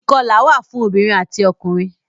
Ìkọlà wà fún obìrin ati ọkùnrin.